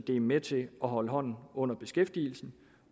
er med til at holde hånden under beskæftigelsen